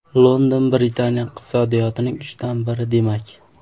London Britaniya iqtisodiyotining uchdan biri demak.